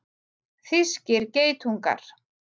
Þýskir geitungar.